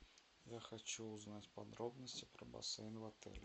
я хочу узнать подробности про бассейн в отеле